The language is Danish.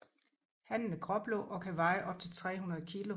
Hannen er gråblå og kan veje op til 300 kg